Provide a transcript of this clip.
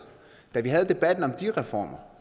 da vi havde debatten om de reformer